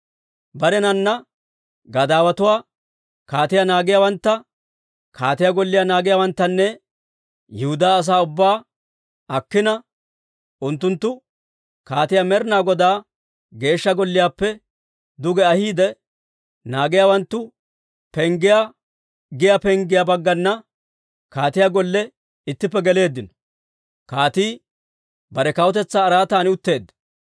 Barenana gadaawatuwaa, kaatiyaa naagiyaawantta, kaatiyaa golliyaa naagiyaawanttanne Yihudaa asaa ubbaa akkina, unttunttu kaatiyaa Med'inaa Godaa Geeshsha Golliyaappe duge ahiidde, Naagiyaawanttu Penggiyaa giyaa penggiyaa baggana kaatiyaa Golle ittippe geleeddino. Kaatii bare kawutetsaa araatan utteedda.